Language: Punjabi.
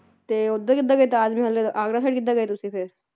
ਤੇ ਉਧਰ ਕਿਦਾਂ ਗਏ ਤਾਜ ਮਹਿਲ ਆਗਰਾ ਸਾਇਡ ਕਿਦਾਂ ਗਏ ਤੁਸੀ ਫੇਰ